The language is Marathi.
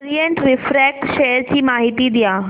ओरिएंट रिफ्रॅक्ट शेअर ची माहिती द्या